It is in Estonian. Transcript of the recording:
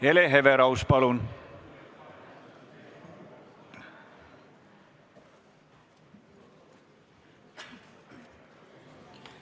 Hele Everaus, palun!